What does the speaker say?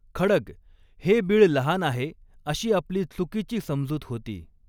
खड्ग, हे बीळ लहान आहे अशी आपली चुकीची समजूत होती.